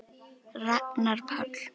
Ragnar Páll.